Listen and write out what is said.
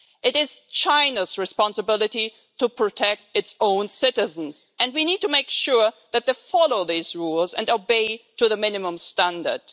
It is China's responsibility to protect its own citizens, and we need to make sure that they follow these rules and adhere to the minimum standard.